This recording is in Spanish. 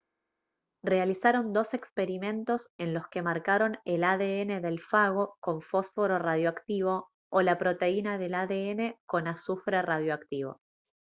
realizaron dos experimentos en los que marcaron el adn del fago con fósforo radioactivo o la proteína del adn con azufre radioactivo